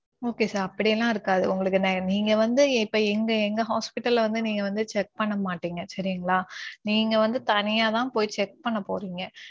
Okay sir. அப்படி எல்லாம் இருக்காது. உங்களுக்குன்னா நீங்க வந்து இப்ப எங்க எங்க hospital ல வந்து நீங்க வந்து check பண்ண மாட்டிங்க சரிங்களா. நீங்க வந்து தனியாத்தான் போய் check பண்ண போறீங்க.